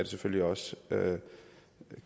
selvfølgelig også